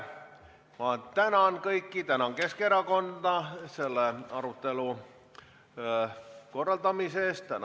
Ma tänan Keskerakonda selle arutelu korraldamise eest!